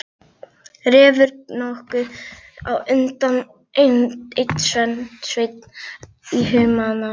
Refur nokkuð á undan en Sveinn í humáttinni.